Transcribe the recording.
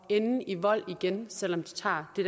ende i vold igen selv om de tager det